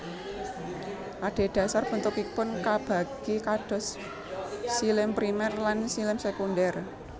Adedasar bentukipun kabagi dados xilem primer lan xilem sekunder